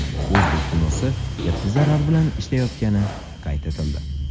O‘zbek kinosi katta zarar bilan ishlayotgani qayd etildi.